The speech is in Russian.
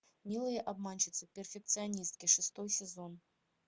милые обманщицы перфекционистки шестой сезон